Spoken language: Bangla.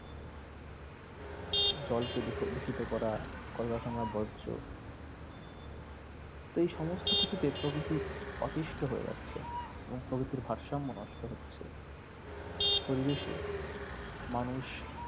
জলকে দুষ দূষিত করা কলকারখানার বর্জ তো এই সমস্ত কিছুকে প্রকৃতি অতিষ্ট হয়ে যাচ্ছে এবং প্রকৃতির ভারসাম্য নষ্ট হচ্ছে পরিবেশে মানুষ